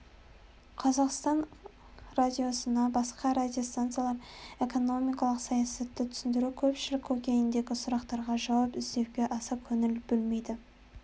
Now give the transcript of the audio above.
қазақ радиосынан басқа радиостанциялар экономикалық саясатты түсіндіру көпшілік көкейіндегі сұрақтарға жауап іздеуге аса көңіл бөлмейді